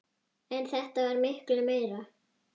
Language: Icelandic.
En þetta varð miklu meira.